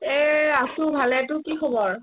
এ আছো ভালে তোৰ কি খৱৰ ?